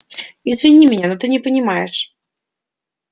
извини меня но ты не понимаешь